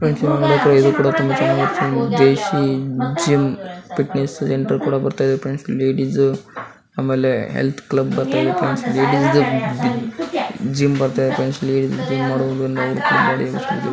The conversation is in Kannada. ಮತ್ತೆ ಇದು ಕೂಡ ತುಂಬಾ ಚೆನ್ನಾಗಿ ಇರುತ್ತೆ ದೇಸಿ ಜಿಮ್ ಫಿಟ್ನೆಸ್ ಅಂತ ಬರೆದಿದ್ದರೆ ಫ್ರೆಂಡ್ಸ್ ಆಮೇಲೆ ಹೆಲ್ತ್ ಕ್ಲಬ್ ಅಂತನು ಇರುತ್ತೆ ಲೇಡಿಸ್ಧು ಜಿಮ್ ಮತ್ತೆ ಲೇಡೀಸ್ದು ಹೆಲ್ತ್ ಕ್ಲಬ್ --